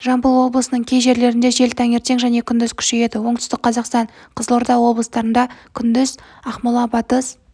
жамбыл облысының кей жерлерінде жел таңертең және күндіз күшейеді оңтүстік қазақстан қызылорда облыстарында күндіз ақмола батыс